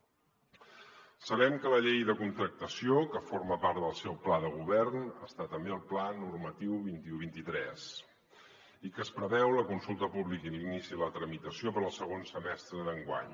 sabem que a la llei de contractació que forma part del seu pla de govern hi ha també el pla normatiu vint un vint tres i que es preveu la consulta pública i l’inici de la tramitació per al segon semestre d’enguany